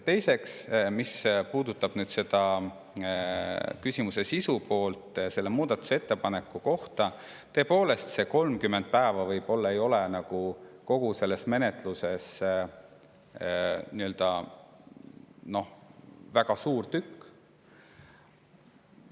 Teiseks, mis puudutab küsimuse sisu poolt, seda muudatusettepanekut, siis tõepoolest, see 30 päeva võib-olla ei ole kogu selles menetluses nii-öelda väga suur tükk.